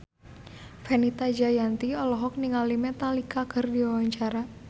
Fenita Jayanti olohok ningali Metallica keur diwawancara